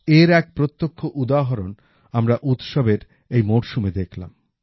এর এক প্রত্যক্ষ উদাহরণ আমরা উৎসবের এই মরশুমে দেখলাম